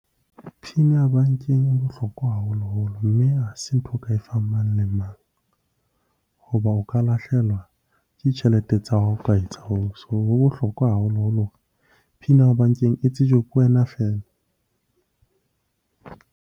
PIN ya bankeng e bohlokwa haholoholo, mme ha se ntho o ka e fang mang le mang hoba o ka lahlehelwa ke ditjhelete tsa hao ha o ka etsa hoo. So ho bohlokwa haholoholo hore PIN ya hao bankeng e tsejwe ke wena feela.